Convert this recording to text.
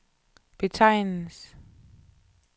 betegnes